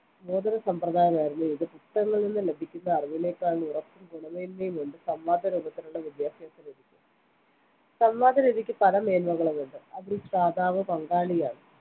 ബോധനസമ്പ്രദായമായിരുന്നു ഇത് പുസ്തകങ്ങളിൽനിന്നും ലഭിക്കുന്ന അറിവിനെക്കാൾ ഉറപ്പും ഗുണമേന്മയുമുണ്ട് സംവാദരൂപത്തിലുള്ള വിദ്യാഭ്യാസ രീതിക്ക് സംവാദരീതിക്ക് പല മേന്മകളുമുണ്ട്അതിൽ ശ്രാതാവ് പങ്കാളിയാണ്